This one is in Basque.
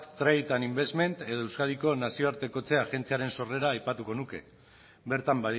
trade and investment edo euskadiko nazioartekotze agentziaren sorrera aipatuko nuke bertan